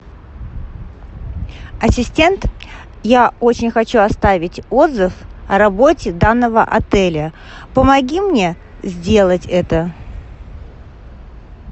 ассистент я очень хочу оставить отзыв о работе данного отеля помоги мне сделать это